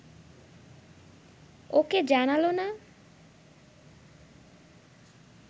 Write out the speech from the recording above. ওকে জানাল না!